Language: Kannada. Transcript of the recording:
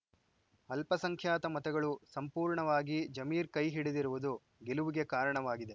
ಅಲ್ಪಸಂಖ್ಯಾತ ಮತಗಳು ಸಂಪೂರ್ಣವಾಗಿ ಜಮೀರ್‌ ಕೈ ಹಿಡಿದಿರುವುದು ಗೆಲುವಿಗೆ ಕಾರಣವಾಗಿದೆ